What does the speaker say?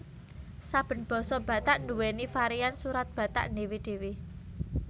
Saben basa Batak nduwèni varian Surat Batak dhéwé dhéwé